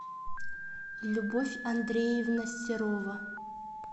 любовь андреевна серова